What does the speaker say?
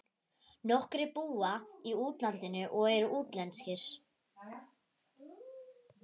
Nokkrir búa í útlandinu og eru útlenskir.